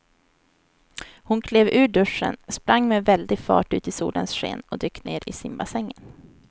Hon klev ur duschen, sprang med väldig fart ut i solens sken och dök ner i simbassängen.